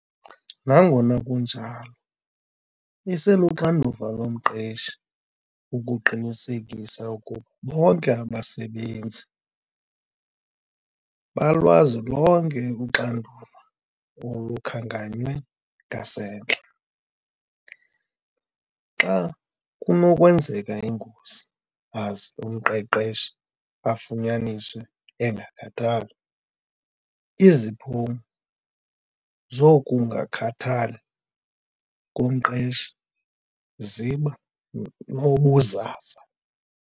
Nangona kunjalo, iseluxanduva lomqeshi ukuqinisekisa oku bonke abasebenzi balwazi lonke uxanduva olukhankanywe ngasentla. Xa kunokwenzeka ingozi, aze umqeshi afunyaniswe engakhathali, iziphumo zokungakhathali komqeshi ziba nobuzaza.